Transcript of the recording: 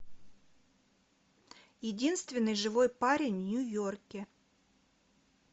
единственный живой парень в нью йорке